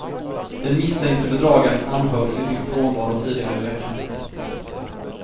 Den misstänkte bedragaren anhölls i sin frånvaro tidigare i veckan.